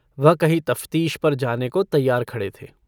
वह कहीं तफ़तीश पर जाने को तैयार खड़े थे।